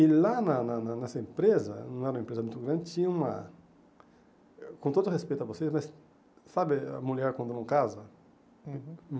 E lá na na na nessa empresa, não era uma empresa muito grande, tinha uma... com todo o respeito a vocês, mas sabe a mulher quando não casa? Uhum